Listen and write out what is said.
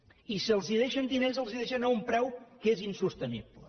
i si els deixen diners els els deixen a un preu que és insostenible